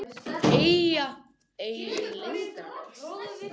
Eiga engin leyndarmál.